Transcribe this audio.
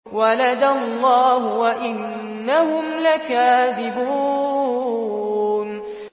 وَلَدَ اللَّهُ وَإِنَّهُمْ لَكَاذِبُونَ